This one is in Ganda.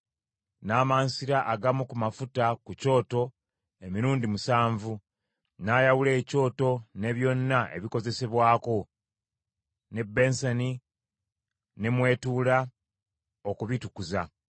N’amansira agamu ku mafuta ku kyoto emirundi musanvu, n’ayawula ekyoto ne byonna ebikozesebwako, n’ebbensani ne mw’etuula, okubitukuza.